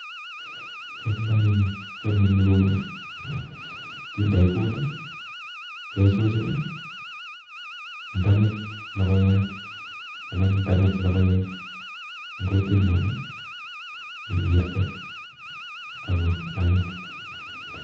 Kiomdoi ni, kiyome ni kouni, kindoi kuut ii, kechuchun ii ndang'et logoiyat anan ndang'et logoek eng' kutit ng'ung ii iwirte ago anyiny.